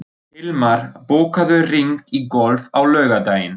Hilmar, bókaðu hring í golf á laugardaginn.